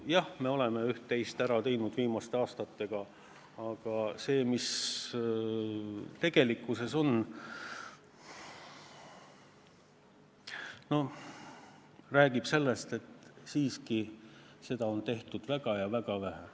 Jah, me oleme üht-teist ära teinud viimaste aastatega, aga tegelikkus räägib sellest, et siiski on tehtud väga-väga vähe.